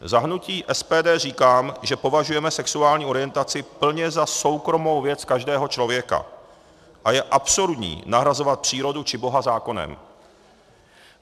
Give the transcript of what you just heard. Za hnutí SPD říkám, že považujeme sexuální orientaci plně za soukromou věc každého člověka a je absurdní nahrazovat přírodu či Boha zákonem.